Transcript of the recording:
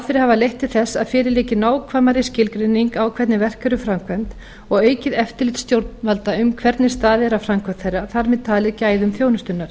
aðferðir hafa leitt til þess að fyrir liggi nákvæmari skilgreining á hvernig verk eru framkvæmd og aukið eftirlit stjórnvalda um hvernig staðið er að framkvæmd þeirra þar með talið gæðum þjónustunnar